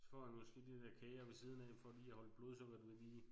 Så får han måske de der kager ved siden af for lige at holde blodsukkeret ved lige